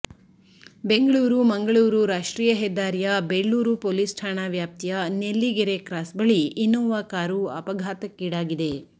ಬೆಂಗಳೂರು ಮಂಗಳೂರು ರಾಷ್ಟ್ರೀಯ ಹೆದ್ದಾರಿಯ ಬೆಳ್ಳೂರು ಪೊಲೀಸ್ ಠಾಣಾ ವ್ಯಾಪ್ತಿಯ ನೆಲ್ಲಿಗೆರೆ ಕ್ರಾಸ್ ಬಳಿ ಇನ್ನೋವಾ ಕಾರು ಅಪಘಾತಕ್ಕೀಡಾಗಿದೆ